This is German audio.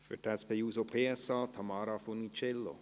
Für die SP-JUSO-PSA-Fraktion spricht Tamara Funiciello.